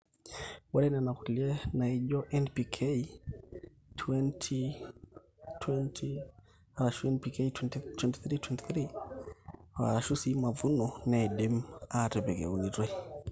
ore nena kulie naijo NPK(20:20:0 or 23:23:0 or mavuno) neidimi aatipik eunitoi